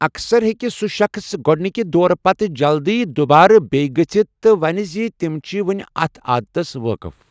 اَکثَر ہٮ۪کہِ سُہ شخٕص گۄڈٕنِکہِ دورٕ پتہٕ جلدٕۍ دُوبارٕ بیٚیہِ گٔژھِتھ تہٕ ونہِ زِ تِم چھِ وونہِ اَتھ عادتس وٲقف ۔